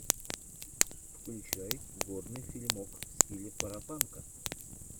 включай годный фильмок в стиле парапанка